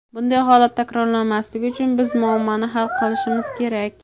Bunday holat takrorlanmasligi uchun biz muammoni hal qilishimiz kerak .